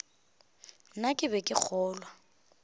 na ke be ke kgolwa